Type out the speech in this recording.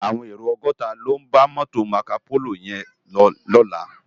Áwòn éró ògòtá ló n bá mòtó Mákópóló yèn lò lòlá